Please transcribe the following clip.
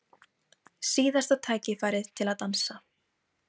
Til dæmis eru hvers kyns styttingar á nöfnum óþarfar.